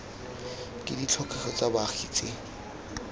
ke ditlhokego tsa baagi tse